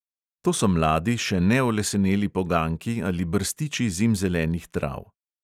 To so mladi, še neoleseneli poganjki ali brstiči zimzelenih trav.